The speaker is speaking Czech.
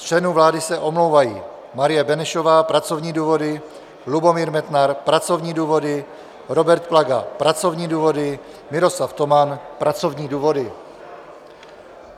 Z členů vlády se omlouvají: Marie Benešová - pracovní důvody, Lubomír Metnar - pracovní důvody, Robert Plaga - pracovní důvody, Miroslav Toman - pracovní důvody.